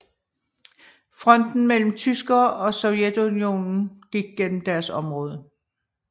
Fronten mellem tyskere og Sovjetunionen gik gennem deres område